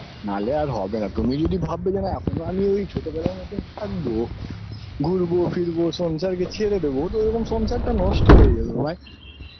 নালে আর হবে না তুমি যদি ভাববে যে না এখনও আমি ওই ছোটবেলার মতো থাকব ঘুরবো ফিরবো সংসারকে ছেরে দোবো তো ওরকম সংসার টা নষ্ট হয়ে যাবে ভাই